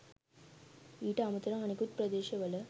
ඊට අමතරව අනෙකුත් ප්‍රදේශවල